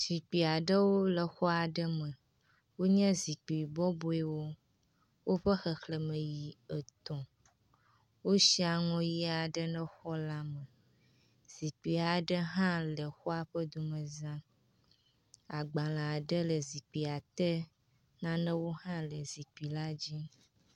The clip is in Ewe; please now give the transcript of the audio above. Zikpui aɖewo le xɔ aɖe me wonye zikpui bɔbɔewo woƒe xexleme yi etɔ̃. Wosi aŋɔ ʋi aɖe ne xɔ la. Zikpui aɖe hã le xɔa ƒe domez. Agbale aɖe le zikpuia te. Nanewo hã le zikpui la dzi.